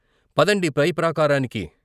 "పదండి పై ప్రాకారానికి.